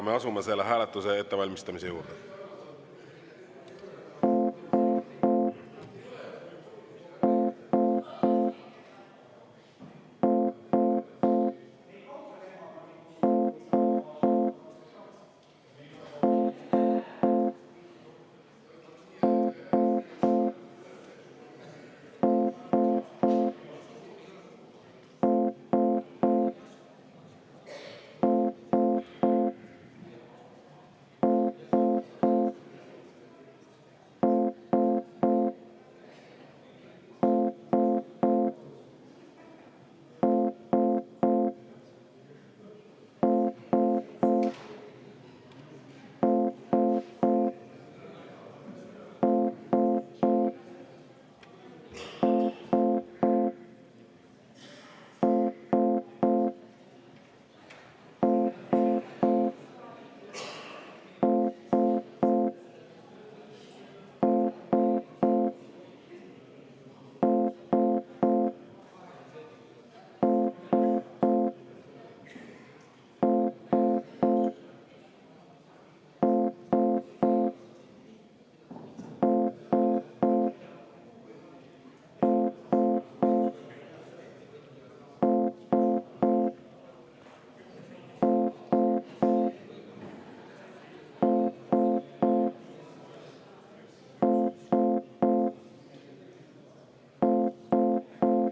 Me asume selle hääletuse ettevalmistamise juurde.